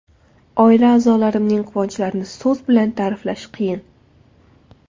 Oila-a’zolarimning quvonchlarini so‘z bilan ta’riflash qiyin.